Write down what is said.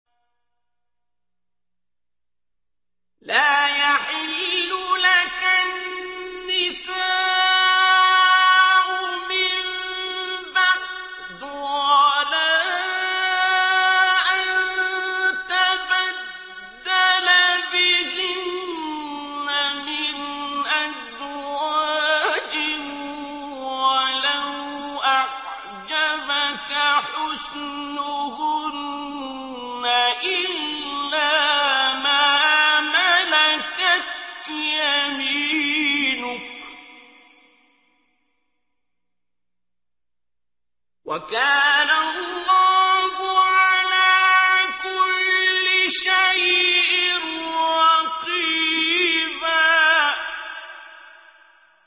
لَّا يَحِلُّ لَكَ النِّسَاءُ مِن بَعْدُ وَلَا أَن تَبَدَّلَ بِهِنَّ مِنْ أَزْوَاجٍ وَلَوْ أَعْجَبَكَ حُسْنُهُنَّ إِلَّا مَا مَلَكَتْ يَمِينُكَ ۗ وَكَانَ اللَّهُ عَلَىٰ كُلِّ شَيْءٍ رَّقِيبًا